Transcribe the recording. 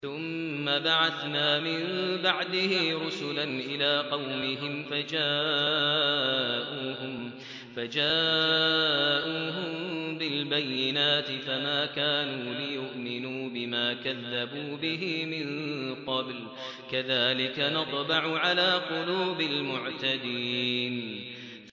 ثُمَّ بَعَثْنَا مِن بَعْدِهِ رُسُلًا إِلَىٰ قَوْمِهِمْ فَجَاءُوهُم بِالْبَيِّنَاتِ فَمَا كَانُوا لِيُؤْمِنُوا بِمَا كَذَّبُوا بِهِ مِن قَبْلُ ۚ كَذَٰلِكَ نَطْبَعُ عَلَىٰ قُلُوبِ الْمُعْتَدِينَ